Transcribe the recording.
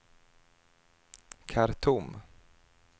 Khartoum